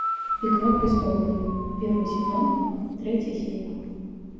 игра престолов первый сезон третья серия